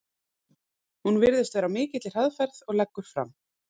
Hún virðist vera á mikilli hraðferð og leggur fram